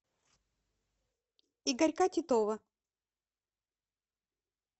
игорька титова